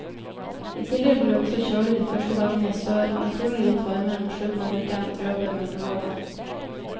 I tillegg blir det også kjølig de første dagene i sør, men trolig litt varmere mot slutten av uken, røper meteorologen.